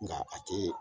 Nka a tɛ